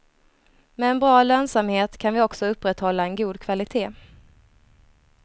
Med en bra lönsamhet kan vi också upprätthålla en god kvalitet.